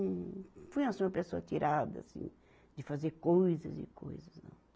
Não fui assim uma pessoa atirada, assim, de fazer coisas e coisas, não.